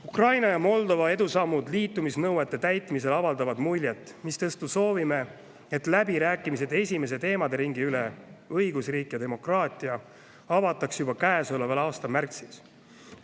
Ukraina ja Moldova edusammud liitumisnõuete täitmisel avaldavad muljet, mistõttu soovime, et läbirääkimised esimese teemaderingi üle – õigusriik ja demokraatia – avataks juba käesoleva aasta märtsis.